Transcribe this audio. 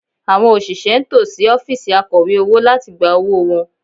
Àwọn òṣìṣẹ́ ń tò sí ọ́fíìsì Akọ̀wé owó láti gba owó wọn